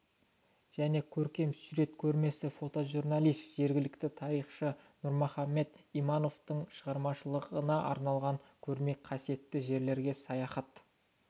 және көркем сурет көрмесі фотожурналист жергілікті тарихшы нұрмұхамат имамовтың шығармашылығына арналған көрме қасиетті жерлерге саяхат